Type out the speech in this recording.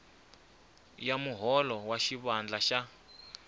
ya muholo wa xivandla xa